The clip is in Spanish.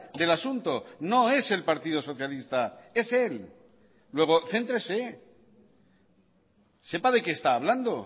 del asunto no es el partido socialista es él luego céntrese sepa de qué está hablando